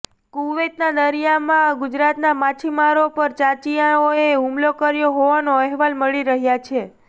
કુવૈતના દરિયામાં ગુજરાતના માછીમારો પર ચાંચિયાઓએ હુમલો કર્યો હોવાનો અહેવાલ મળી રહ્યા છે